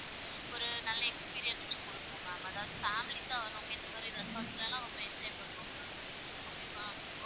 ஒரு நல்ல experience குடுக்கும் ma'am அதாவது families சா வரவங்க இந்த மாதிரி resort ல லாம் ரொம்ப enjoy பண்ணுவாங்க ma'am okay வா,